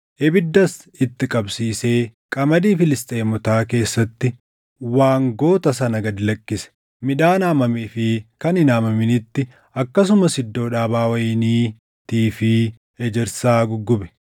ibiddas itti qabsiisee qamadii Filisxeemotaa keessatti waangota sana gad lakkise. Midhaan haamamee fi kan hin haamaminitti akkasumas iddoo dhaabaa wayiniitii fi ejersaa guggube.